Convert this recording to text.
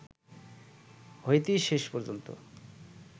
হইতে শেষ পর্যন্ত